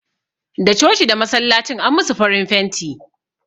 Da coci da masallacin an musu farin fenti